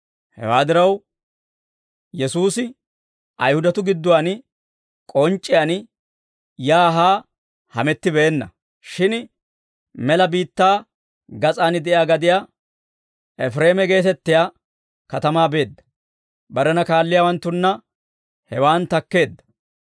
Hewaa diraw, Yesuusi Ayihudatuu gidduwaan k'onc'c'iyaan yaa haa hamettibeenna; shin mela biittaa gas'aan de'iyaa gadiyaa, Efireema geetettiyaa katamaa beedda. Barena kaalliyaawanttunna hewaan takkeedda.